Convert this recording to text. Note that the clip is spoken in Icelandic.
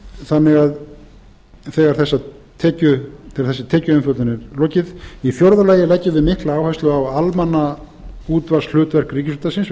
þannig að þegar þessari tekjuumfjöllun er lokið í fjórða lagi leggjum við mikla áherslu á almannaútvarpshlutverk í fjórða lagi leggjum við